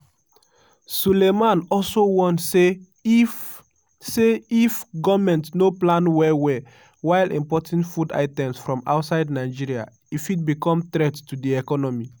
sulaiman also warn say if say if goment no plan well-well while importing food items from outside nigeria e fit become threat to di economy.